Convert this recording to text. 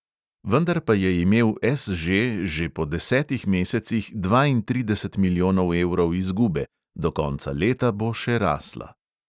Vendar pa je imel SŽ že po desetih mesecih dvaintrideset milijonov evrov izgube, do konca leta bo še rasla.